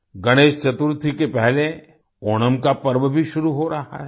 गणेश चतुर्थी के पहले ओणम का पर्व भी शुरू हो रहा है